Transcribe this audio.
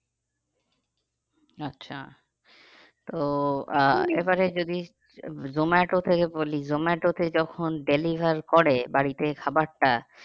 আচ্ছা তো আহ এবারে যদি জোমাটোতে বলি জোমাটোতে যখন deliver করে বাড়িতে খাবারটা